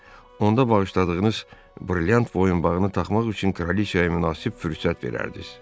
Onda bağışladığınız brilliant boyunbağını taxmaq üçün kraliçaya münasib fürsət verərdiniz.